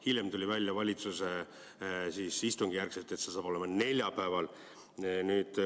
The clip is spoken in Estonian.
Hiljem, valitsuse istungi järgselt tuli välja, et see saab olema neljapäeval.